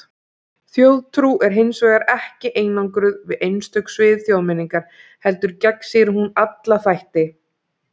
Þjóðtrú er hins vegar ekki einangruð við einstök svið þjóðmenningar, heldur gegnsýrir hún alla þætti.